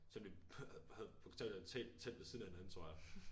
Selvom vi havde bogstaveligt talt telt ved siden af hinanden tror jeg